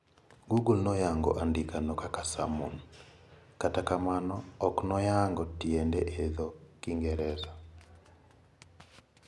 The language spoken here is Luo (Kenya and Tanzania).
Google noyango andikeno kaka samoan, kata kamano oknoyango tiende e dho kingereza.